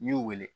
N'i y'u wele